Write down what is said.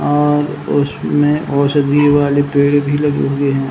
अ उसमें ओषधी वाले पेड़ भी लगे हुए हैं।